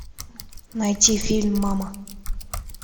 найти фильм мама